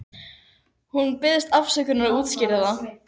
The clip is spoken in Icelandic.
Hún biðst afsökunar og útskýrir það.